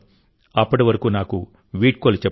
అప్పటి వరకు నాకు వీడ్కోలు చెప్పండి